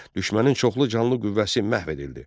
Düşmənin çoxlu canlı qüvvəsi məhv edildi.